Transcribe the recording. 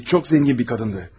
Çox zəngin bir qadın idi.